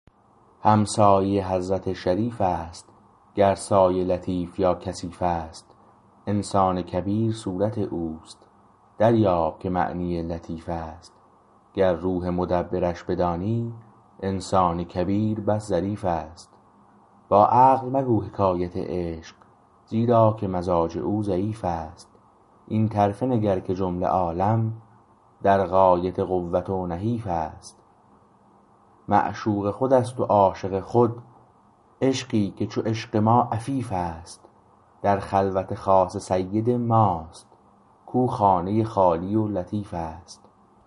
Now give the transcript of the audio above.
همسایه حضرت شریف است گر سایه لطیف یا کثیف است انسان کبیر صورت اوست دریاب که معنی لطیف است گر روح مدبرش بدانی انسان کبیر بس ظریف است با عقل مگو حکایت عشق زیرا که مزاج او ضعیف است این طرفه نگر که جمله عالم در غایت قوت و نحیف است معشوق خود است و عاشق خود عشقی که چو عشق ما عفیف است در خلوت خاص سید ماست کاو خانه خالی و لطیف است